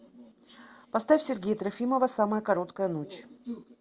поставь сергея трофимова самая короткая ночь